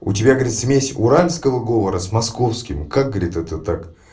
у тебя говорит смесь уральского говора с московским как говорит это так